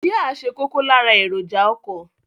Jia ṣe kókó lára èròjà ọkọ.